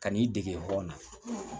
Ka n'i dege bɔ n na